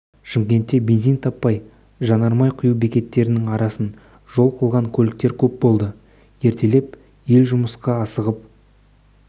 шымкентте бензин таппай жанармай құю бекеттерінің арасын жол қылған көліктер көп болды ертелеп ел жұмысқа асығып